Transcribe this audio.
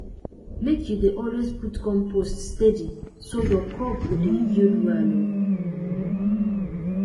make you dey always put compost steady so your crop go dey yield well um